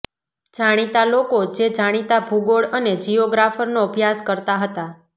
જાણીતા લોકો જે જાણીતા ભૂગોળ અને જિયોગ્રાફરનો અભ્યાસ કરતા હતા